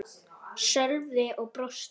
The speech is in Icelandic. Sölvi og brosti.